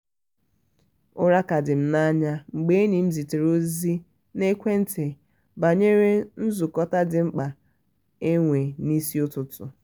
ura ka di m na anya mgbe enyi m zitere ozi n'ekwenti banyere n zukọta dị mkpa enwe n'isi ụtụtụ